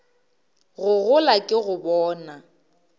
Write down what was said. go gola ke go bona